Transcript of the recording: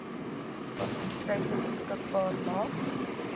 fasiliteite beskikbaar maak